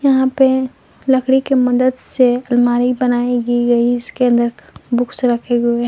यहां पे लकड़ी के मदद से अलमारी बनाई गी गई इसके अंदर बुक्स रखे हुए हैं।